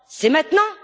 C'est maintenant!